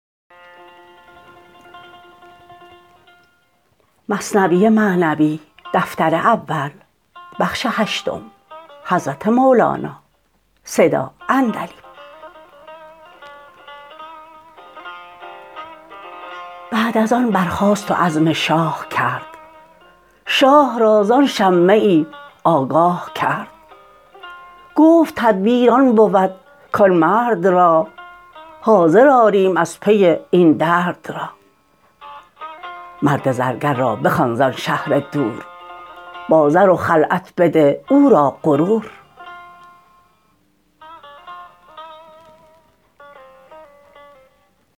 بعد از آن برخاست و عزم شاه کرد شاه را زان شمه ای آگاه کرد گفت تدبیر آن بود کان مرد را حاضر آریم از پی این درد را مرد زرگر را بخوان زان شهر دور با زر و خلعت بده او را غرور